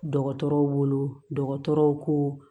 Dɔgɔtɔrɔw bolo dɔgɔtɔrɔw ko